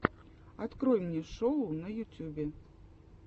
открой мне шоу на ютюбе